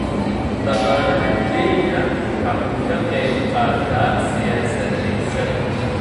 Dhaqaalaha Kenya waxa uu ka qayb qaataa siyaasadiisa.